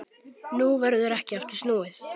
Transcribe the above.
Nú verður ekki aftur snúið.